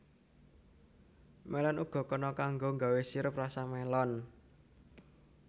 Mélon uga kena kanggo nggawé sirup rasa mélon